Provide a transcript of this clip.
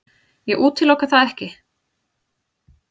Ég útiloka það ekki.